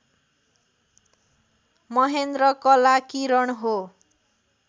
महेन्द्र कला किरण हो